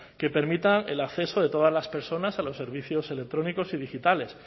que permitan el acceso de todas las personas a los servicios electrónicos y digitales